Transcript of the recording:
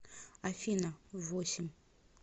афина в восемь